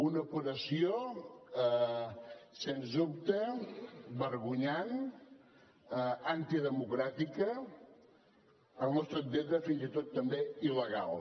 una operació sens dubte vergonyant antidemocràtica al nostre entendre fins i tot també il·legal